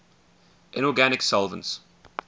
inorganic solvents